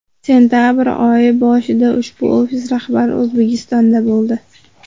Sentabr oyi boshida ushbu ofis rahbari O‘zbekistonda bo‘ldi.